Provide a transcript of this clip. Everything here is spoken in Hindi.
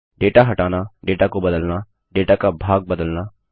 डेटा हटाना डेटा को बदलना डेटा का भाग बदलना